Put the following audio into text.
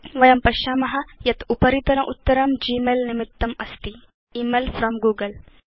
वयं पश्याम यत् उपरितन उत्तरं g मेल निमित्तमस्ति थे इमेल फ्रॉम् गूगल